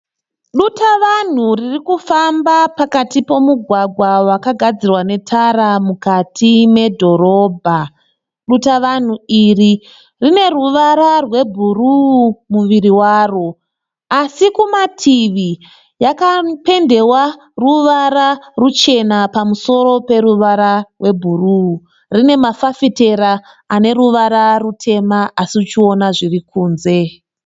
Dutavanhu ririkufamba pakati pemugwagwa wakagadzirwa netara mukati medhorobha. Dutavanhu iri rine ruvara rwebhuruu muviri waro. Asi kumativi yakapendewa ruvara ruchena pamusoro peruvara rebhuruu. Rine mafafitera aneruvara rutema asi uchiona zviri kunze.